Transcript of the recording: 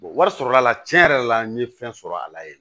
wari sɔrɔla tiɲɛ yɛrɛ la n ye fɛn sɔrɔ a la yen